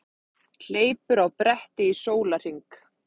Hleypur á bretti í sólarhring